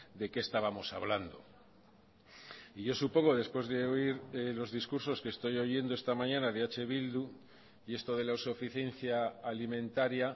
de qué estábamos hablando y yo supongo después de oír los discursos que estoy oyendo esta mañana de eh bildu y esto de la suficiencia alimentaria